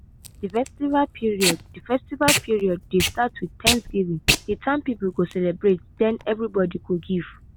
de harvest period de harvest period dey start with thanksgiving de town people go celebrate den everybody go give.